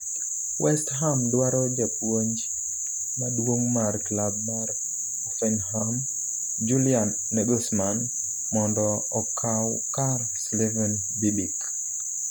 West Ham dwaro japuonj maduong' mar klab mar Hoffenheim Julian Nagelsmann mondo okaw kar Slaven Bibic